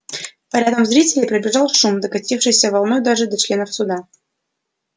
по рядам зрителей пробежал шум докатившийся волной даже до членов суда